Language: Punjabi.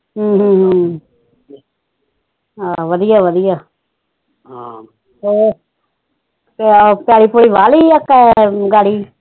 ਵਧੀਆਂ ਵਧੀਆਂ ਹਮ ਹੋਰ ਪੈਲੀ ਪੂਲੀ ਵਾਹ ਲੀਆਂ